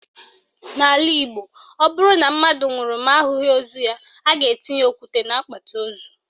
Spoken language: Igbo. N'ala Igbo, o bụrụ na mmadụ nwụrụ ma ahụghị ozu ya, a ga-etinye okwute n'akpati ozu.